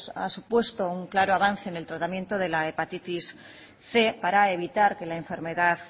han supuesto un claro avance en el tratamiento de la hepatitis cien para evitar que la enfermedad